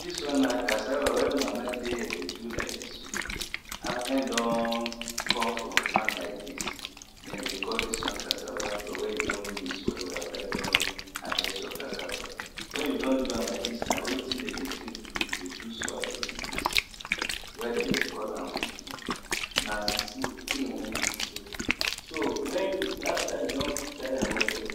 Dis one na cassava wey mama dey do for here like dis, after you don come back from farm like dis, dem dey call dis one cassava flour wen you don mix well well after you don harvest your cassava. Wen you don do am like dis na wetin dem dey take do dey take do swallow be dis, wen dem dey call am fufu. Na fufu im wan do so, so after you don filter am well well